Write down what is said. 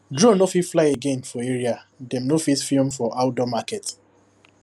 drone no fit fly again for area dem no fit film for outdoor market